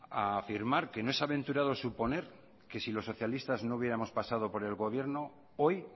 a afirmar que no es aventurado suponer que si los socialistas no hubiéramos pasado por el gobierno hoy